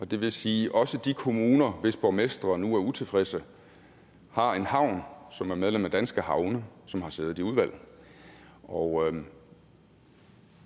det vil sige at også de kommuner hvis borgmestre nu er utilfredse har en havn som er medlem af danske havne som har siddet i udvalget og